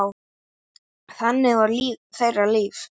Þannig var þeirra líf.